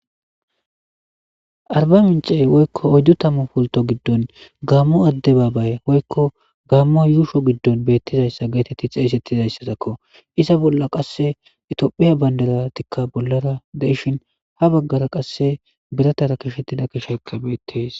Arba minche woyko oydutamu pulto gidon gamo adebabaye woykko gamo yusho gidon getetidi xesetizaysako iza boll etiyophphiya bandirataika bollara dishin habagar qase biratara keshetida keshayka betes